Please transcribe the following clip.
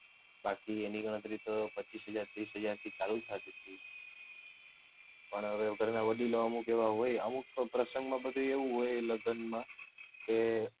બાકી એની ગણતરી તો પચીસ હાજર તીસ હજાર થી ચાલુ જ થાથી હતી પણ હવે ઘર ના વડીલો અમુક એવાં હોય અમુક પ્રસંગ માં એવું હોય લગ્નમાં કે